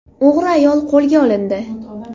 O‘g‘ri ayol qo‘lga olindi.